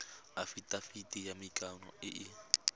afitafiti ya maikano e e